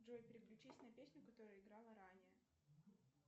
джой переключись на песню которая играла ранее